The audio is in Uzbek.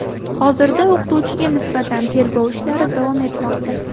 Hozirda o‘qituvchiga nisbatan tergov ishlari davom etmoqda.